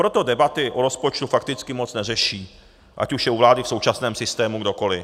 Proto debaty o rozpočtu fakticky moc neřeší, ať už je u vlády v současném systému kdokoli.